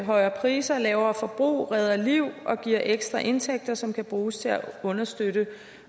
højere priser lavere forbrug redder liv og giver ekstra indtægter som kan bruges til at understøtte